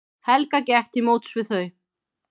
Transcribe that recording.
Helga gekk til móts við þau.